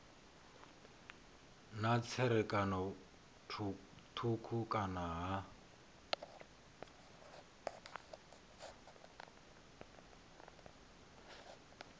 na tserakano thukhu kana ha